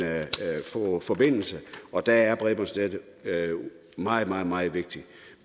få forbindelse og der er bredbåndsnettet meget meget meget vigtigt